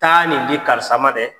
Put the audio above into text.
Taa nin di karisa ma dɛ.